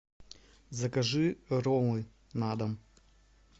закажи роллы на дом